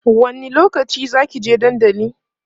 wani lokaci Zaki je dandali?